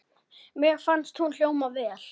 Mér fannst hún hljóma vel.